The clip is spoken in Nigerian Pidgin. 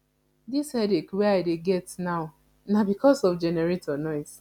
dis headache wey i dey get now na because of generator noise